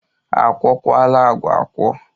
A kwọkwala agwa akwọ?